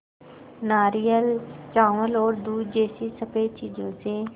नारियल चावल और दूध जैसी स़फेद चीज़ों से